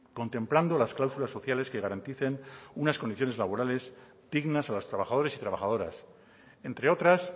contemplando las cláusulas sociales que garanticen unas condiciones laborales dignas a los trabajadores y trabajadoras entre otras